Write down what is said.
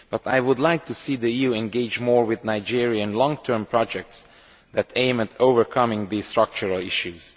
But I would like to see the EU engage more with Nigeria in long term projects that aim at overcoming these structural issues.